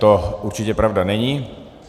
To určitě pravda není.